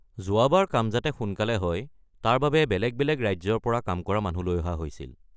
যোৱাবাৰ কাম যাতে সোনকালে হয় তাৰ বাবে বেলেগ বেলেগ ৰাজ্যৰ পৰা কাম কৰা মানুহ লৈ অহা হৈছিল।